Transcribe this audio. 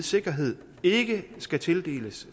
sikkerhed ikke skal tildeles